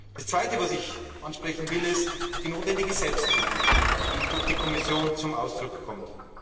Das Zweite, was ich ansprechen will, ist die notwendige Selbstkritik, die durch die Kommission zum Ausdruck kommt.